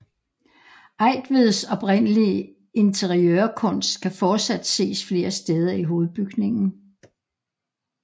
Eigtveds oprindelige interiørkunst kan fortsat ses flere steder i hovedbygningen